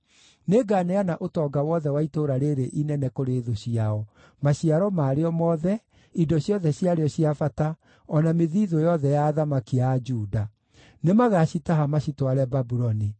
Nĩnganeana ũtonga wothe wa itũũra rĩĩrĩ inene kũrĩ thũ ciao: maciaro marĩo mothe, indo ciothe ciarĩo cia bata, o na mĩthithũ yothe ya athamaki a Juda. Nĩmagacitaha macitware Babuloni.